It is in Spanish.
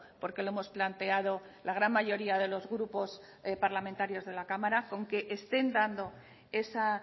porque lo hemos planteado la gran mayoría de los grupos parlamentarios de la cámara con que estén dando esa